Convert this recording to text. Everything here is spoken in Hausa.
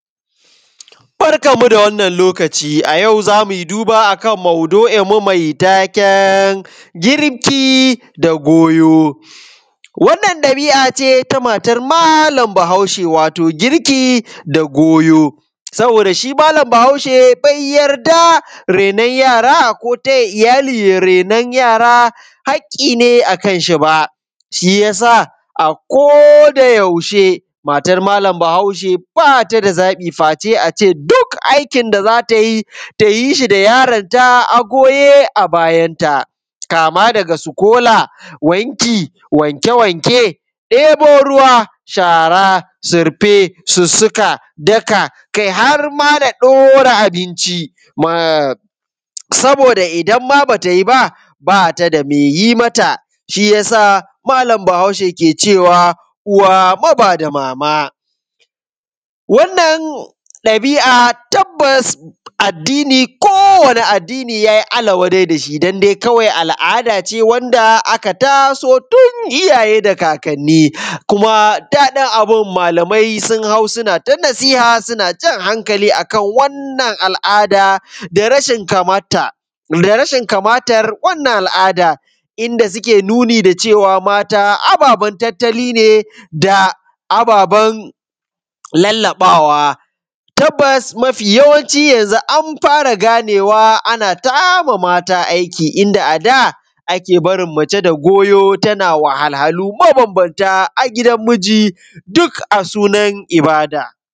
Barkanmu da wannan lokaci a yau zamu yi duba akan maudu’inmu mai taken girki da goyo. Wannan ɗabi’ace ta matan malam Bahaushe, wato girki da goyo. Saboda shi malam Bahaushe be yarda reno yara, ko taya iyali ye renon yara hakki ne akan shi ba, shiyasa a ko da yaushe matar malam Bahaushe bata da zaɓi face ace duk aikin da zata yi, tayi shi da yaronta a goye a bayanta, kama daga sukola, wanki, wanke-wanke, ɗebo ruwa, shara, surfe, sussuka, daka kai harma da ɗora abinci. Saboda idan ma bata yi ba, bata da me yi mata, shiyasa malam Bahaushe ke cewa (uwa mabada mama). Wannan ɗabi’a tabbas addini ko wani addini ya Allah wa dai dashi don dai kawai al’ada ce wanda aka ta so tun iyaye da kakkani, kuma daɗin abun malamai sun hau suna ta nasiha suna jan hankali akan wannan al’ada da rashin kamata, da rashin kamatar wannan al’ada inda suke nuni da cewa mata ababan tattali ne, da ababban lalaɓawa. Tabbas mafi yawanci yanzu an fara ganewa, ana tama mata aiki, inda ada ake barin mace da goyo tana wahalhalu mabambamta a gidan miji, duk a sunan ibada.